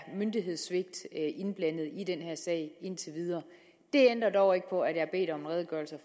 er myndighedssvigt indblandet i den her sag indtil videre det ændrer dog ikke på at jeg har bedt om en redegørelse